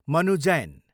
Manu Jain